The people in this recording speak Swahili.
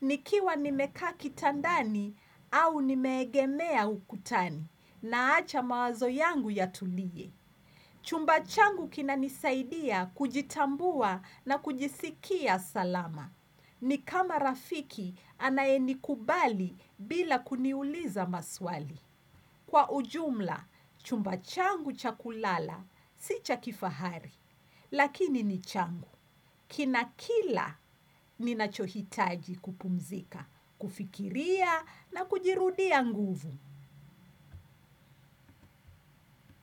Nikiwa nimekaa kitandani au nimeegemea ukutani. Naacha mawazo yangu yatulie. Chumba changu kinanisaidia kujitambua na kujisikia salama. Ni kama rafiki anayenikubali bila kuniuliza maswali. Kwa ujumla, chumba changu cha kulala si cha kifahari, lakini ni changu. Kina kila ninachohitaji kupumzika, kufikiria na kujirudia nguvu.